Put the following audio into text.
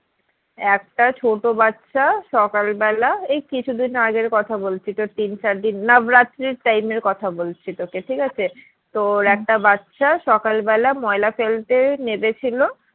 একটা ছোট বাচ্চা সকাল বেলা এই কিছু দিন আগের কথা বলছি তোর তিন চার দিন নবরাত্রির time এর কথা বলছি তোকে ঠিক আছে। তো একটা বাচ্চা সকাল বেলা ময়লা ফেলতে নেমেছিল,